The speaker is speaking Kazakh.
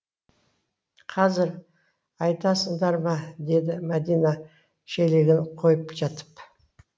қазір айтасыңдар ма деді мәдина шелегін қойып жатып